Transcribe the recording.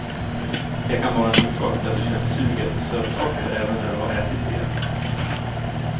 Det kan vara en orsak till att du känner sug efter sötsaker även när du har ätit rejält.